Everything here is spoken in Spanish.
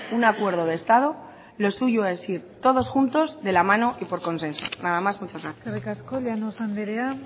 un acuerdo de estado lo suyo es ir todos juntos de la mano y por consenso nada más muchas gracias eskerrik asko llanos andrea